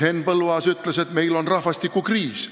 Henn Põlluaas ütles, et meil on rahvastikukriis.